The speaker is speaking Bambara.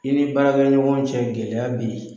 I ni baara bɛ ɲɔgɔn cɛ gɛlɛya bɛ yen.